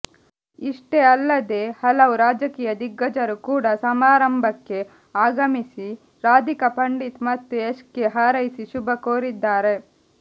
ಇಷ್ಟೇ ಅಲ್ಲದೇ ಹಲವು ರಾಜಕೀಯ ದಿಗ್ಗಜರು ಕೂಡಾ ಸಮಾರಂಭಕ್ಕೆ ಆಗಮಿಸಿ ರಾಧಿಕಾ ಪಂಡಿತ್ ಮತ್ತು ಯಶ್ಗೆ ಹಾರೈಸಿ ಶುಭಕೋರಿದ್ದಾರೆ